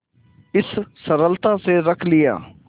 इस सरलता से रख लिया